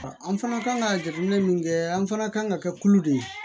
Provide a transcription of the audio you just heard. An fana kan ka jateminɛ min kɛ an fana kan ka kɛ kulu de ye